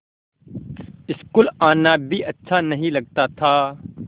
school आना भी अच्छा नहीं लगता था